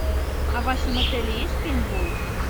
а в вашем отеле есть пейнтбол